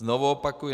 Znovu opakuji.